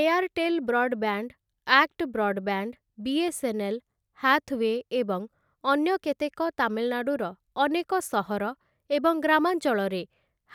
Airtel broadband, ACT broadband, BSNL, Hathway ଏବଂ ଅନ୍ୟ କେତେକ ତାମିଲନାଡୁର ଅନେକ ସହର ଏବଂ ଗ୍ରାମାଞ୍ଚଳରେ